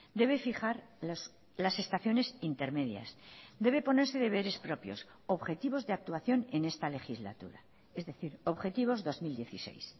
debe fijar las estaciones intermedias debe ponerse deberes propios objetivos de actuación en esta legislatura es decir objetivos dos mil dieciséis